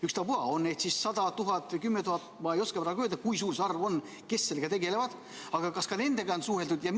Ükstapuha, on neid siis 100, 1000 või 10 000 – ma ei oska praegu öelda, kui suur see arv on, kes sellega tegelevad –, aga kas ka nendega on suheldud?